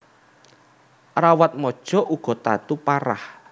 Rawatmaja uga tatu parah